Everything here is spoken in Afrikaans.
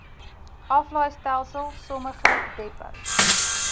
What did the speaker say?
aflaaistelsel sommige depots